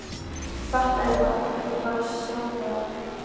Af hverju fariði ekki bara sjálfar í skóla?